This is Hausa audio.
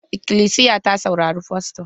Ikilisiya ta saurari fasto.